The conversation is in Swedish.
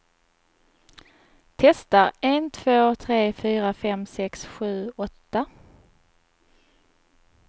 Testar en två tre fyra fem sex sju åtta.